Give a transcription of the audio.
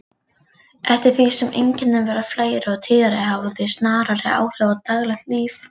Eftir því sem einkennin verða fleiri og tíðari hafa þau snarari áhrif á daglegt líf.